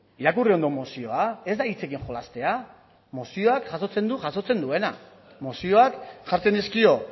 irakurri ondo mozioa ez da hitzekin jolastea mozioak jasotzen du jasotzen duena mozioak jartzen dizkio